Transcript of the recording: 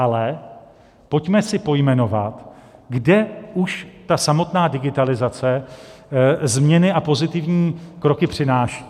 Ale pojďme si pojmenovat, kde už ta samotná digitalizace změny a pozitivní kroky přináší.